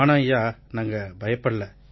ஆனா ஐயா நாங்க பயப்படலை